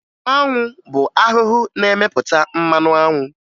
Anwụ bụ ahụhụ na-emepụta mmanụ anwụ